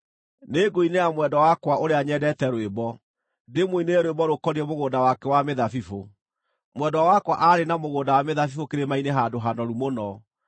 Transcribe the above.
Nĩngũinĩra mwendwa wakwa ũrĩa nyendete rwĩmbo, ndĩmũinĩre rwĩmbo rũkoniĩ mũgũnda wake wa mĩthabibũ: Mwendwa wakwa aarĩ na mũgũnda wa mĩthabibũ kĩrĩma-inĩ handũ hanoru mũno.